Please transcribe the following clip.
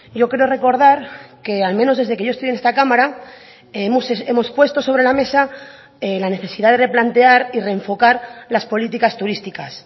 yo creo recordar que al menos desde que yo estoy en esta cámara hemos puesto sobre la mesa la necesidad de replantear y reenfocar las políticas turísticas